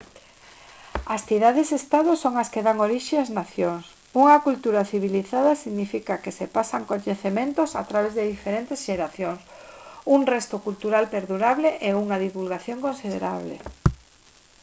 as cidades estado son as que dan orixe as nacións unha cultura civilizada significa que se pasan coñecementos a través de diferentes xeracións un resto cultural perdurable e unha divulgación considerable